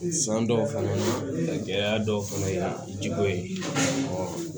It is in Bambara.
San dɔw fana na gɛlɛya dɔw fana ye jiko ye